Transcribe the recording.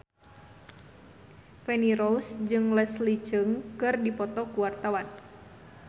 Feni Rose jeung Leslie Cheung keur dipoto ku wartawan